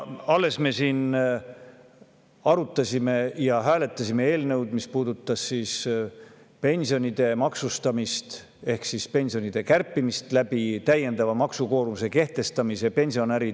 Alles arutasime ja hääletasime eelnõu, mis puudutas pensionide maksustamist ehk pensionide kärpimist täiendava maksukoormuse kehtestamisega.